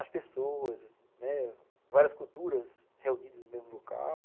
As pessoas, né, várias culturas reunidas no mesmo local.